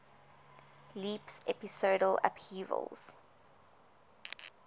leaps episodal upheavals